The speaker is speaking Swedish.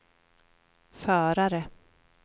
förare